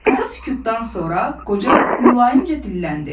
Qısa sükutdan sonra qoca mülayimcə dilləndi.